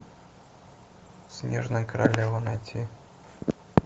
снежная королева найти